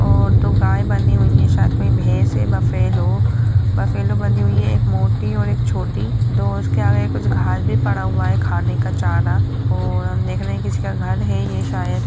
--और दो गाये बंधी हुईं हैं शायद कोई भैंस है बफैलो बफैलो बंधी हुई है एक मोटी और एक छोटी दो उसके आगे कुछ घास भी पड़ा हुआ है खाने का चारा और हम देख रहे की इसका घर है ये शायद --